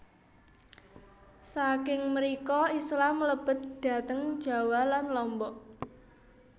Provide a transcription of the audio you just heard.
Saking mrika Islam mlebet dhateng Jawa lan Lombok